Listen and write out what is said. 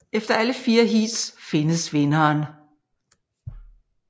Efter alle fire heats findes vinderen